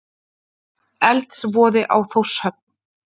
Eldsvoði á Þórshöfn